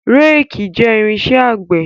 Réèkì jẹ́ irinṣẹ́ àgbẹ̀.